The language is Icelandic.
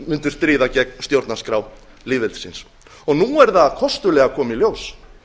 mundu stríða gegn stjórnarskrá lýðveldisins og nú er það kostulega að koma í ljós